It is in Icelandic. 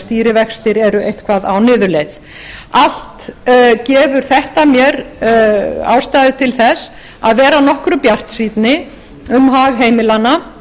stýrivextir eru eitthvað á niðurleið allt gefur þetta mér ástæðu til þess að vera nokkru bjartsýnni um hag heimilanna